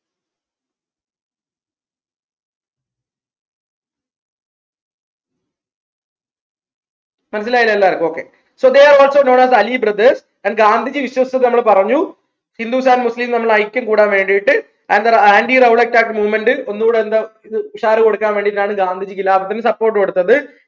മനസ്സിലായില്ലേ എല്ലാർക്കും okay so they are also known as ali brothers and Gandhiji വിശ്വസിച്ചത് നമ്മൾ പറഞ്ഞു hindus and muslims തമ്മിലുള്ള ഐക്യം കൂടാൻ വേണ്ടിട്ട് and the anti rowlett act movement ഒന്നൂടെ എന്താ ഇത് കൊടുക്കാൻ വേണ്ടിട്ടാണ് ഗാന്ധിജി ഖിലാഫത്തിന് support കൊടുത്തത്